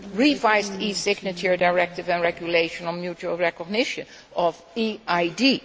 the revised e signature directive and regulation on mutual recognition of EID